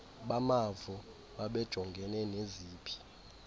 bamavo babejongene neziphi